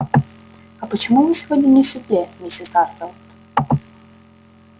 а почему вы сегодня не в седле миссис тарлтон